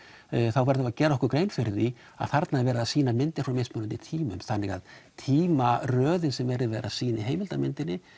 þá verðum við að gera okkur grein fyrir því að þarna er verið að sýna myndir frá mismunandi tímum þannig að tímaröðin sem verið er að sýna í heimildarmyndinni